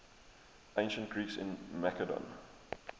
ancient greeks in macedon